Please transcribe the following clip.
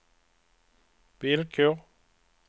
villkor